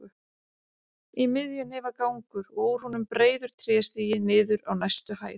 Í miðjunni var gangur og úr honum breiður tréstigi niður á næstu hæð.